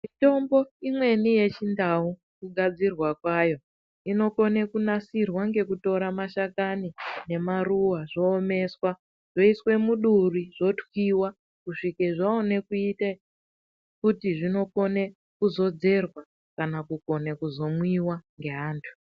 Mitombo imweni yechindau, kugadzirwa kwayo, inokone kunasirwa ngekutora mashakani nemaruwa zowomeswa zveyiswe muduri zotokwiwa kuswike zvaone kuite kuti zvinokone kuzodzerwa kana kukone kuzomwiwa nge antu.